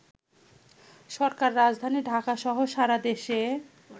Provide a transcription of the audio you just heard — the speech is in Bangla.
সরকার রাজধানী ঢাকাসহ সারাদেশে